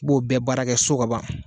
B'o bɛɛ baarakɛ so kaban